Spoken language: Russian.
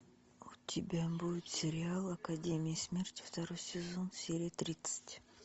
у тебя будет сериал академия смерти второй сезон серия тридцать